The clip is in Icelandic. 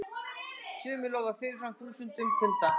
Sumir lofa fyrirfram tugþúsundum punda.